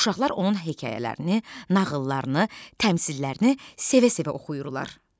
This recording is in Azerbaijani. Uşaqlar onun hekayələrini, nağıllarını, təmsillərini sevə-sevə oxuyurlar.